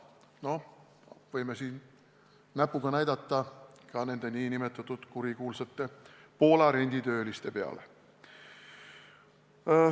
Me võime siin näpuga näidata ka nende nn kurikuulsate Poola renditööliste peale.